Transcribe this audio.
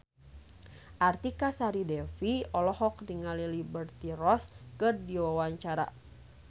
Artika Sari Devi olohok ningali Liberty Ross keur diwawancara